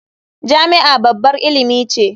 Jami'a babbar ilimi ce.